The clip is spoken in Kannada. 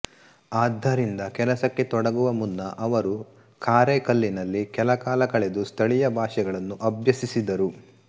ಆದ್ದರಿಂದ ಕೆಲಸಕ್ಕೆ ತೊಡಗುವ ಮುನ್ನ ಅವರು ಕಾರೈಕಲ್ಲಿನಲ್ಲಿ ಕೆಲಕಾಲ ಕಳೆದು ಸ್ಥಳೀಯ ಭಾಷೆಗಳನ್ನು ಅಭ್ಯಸಿಸಿದರು